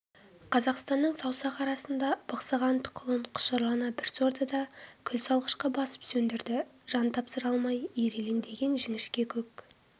қазақстанның саусақ арасында бықсыған тұқылын құшырлана бір сорды да күлсалғышқа басып сөндірді жан тапсыра алмай ирелеңдеген жіңішке көк